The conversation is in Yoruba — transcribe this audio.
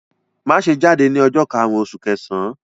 Má ṣe jáde ní ọjọ́ karùn-ún oṣù kẹsàn-án!